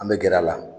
An bɛ gɛrɛ a la